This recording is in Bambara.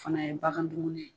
Fana ye bagan dumuni ye